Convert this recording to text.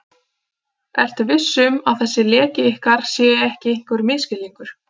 Ertu viss um, að þessi leki ykkar sé ekki einhver misskilningur?